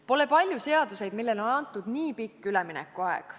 Pole palju seaduseid, mille jõustumiseks on antud nii pikk üleminekuaeg.